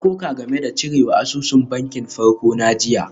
Na koka game da cirewa asusun bankin farko na jiya.